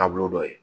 Taabolo dɔ ye